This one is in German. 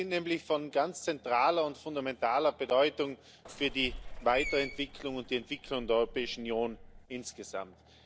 Sie sind nämlich von ganz zentraler und fundamentaler Bedeutung für die Weiterentwicklung und die Entwicklung der Europäischen Union insgesamt.